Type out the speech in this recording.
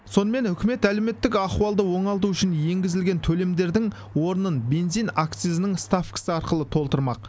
сонымен үкімет әлеуметтік ахуалды оңалту үшін енгізілген төлемдердің орнын бензин акцизінің ставкасы арқылы толтырмақ